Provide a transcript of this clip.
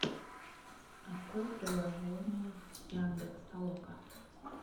открой приложение яндекс толока